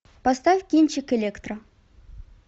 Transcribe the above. поставь кинчик электро